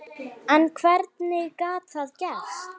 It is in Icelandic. En hvernig gat það gerst?